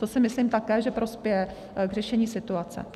To si myslím také, že prospěje k řešení situace.